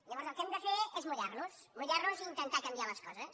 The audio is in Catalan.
llavors el que hem de fer és mullar·nos mullar·nos i intentar canviar les coses